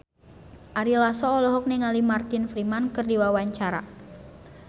Ari Lasso olohok ningali Martin Freeman keur diwawancara